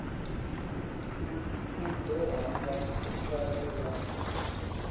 u ḓo ramba vhaṅwe vhane